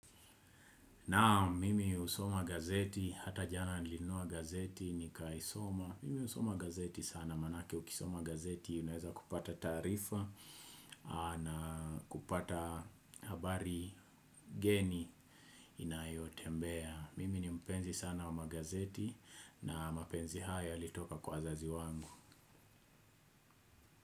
Naam mimi usoma gazeti hata jana nilinunua gazeti ni kaisoma. Mimi usoma gazeti sana manake ukisoma gazeti unaweza kupata taarifa. Na kupata habari geni inayotembea. Mimi ni mpenzi sana wa magazeti na mapenzi haya yalitoka kwa wazazi wangu.